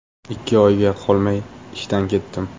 Ikki oyga qolmay ishdan ketdim.